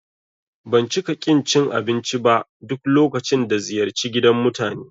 Ban cika ƙin cin abinci ba duk lokacin da ziyarci gidan mutane